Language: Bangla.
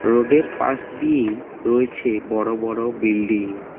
রোডের পাশ দিয়েই রয়েছে বড় বড় বিল্ডিং ।